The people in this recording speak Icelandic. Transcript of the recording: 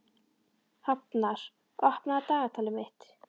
Hafnar, opnaðu dagatalið mitt.